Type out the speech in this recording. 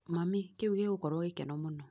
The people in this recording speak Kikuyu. Mami, kĩu gĩgũkorwo gĩkeno mũno.